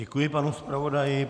Děkuji panu zpravodaji.